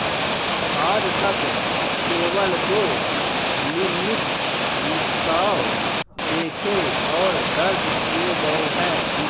आज तक केवल दो लिम्निक रिसाव देखे और दर्ज किए गए हैं